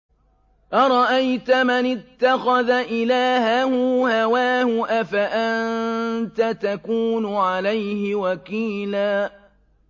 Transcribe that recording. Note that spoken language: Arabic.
أَرَأَيْتَ مَنِ اتَّخَذَ إِلَٰهَهُ هَوَاهُ أَفَأَنتَ تَكُونُ عَلَيْهِ وَكِيلًا